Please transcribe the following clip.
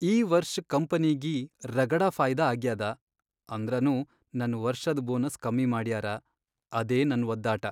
ಈ ವರ್ಷ್ ಕಂಪನಿಗಿ ರಗಡ ಫಾಯ್ದಾ ಆಗ್ಯಾದ ಅಂದ್ರನೂ ನನ್ ವರ್ಷದ್ ಬೋನಸ್ ಕಮ್ಮಿ ಮಾಡ್ಯಾರ ಅದೇ ನನ್ ವದ್ದಾಟ.